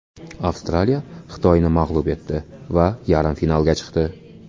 Avstraliya Xitoyni mag‘lub etdi va yarim finalga chiqdi.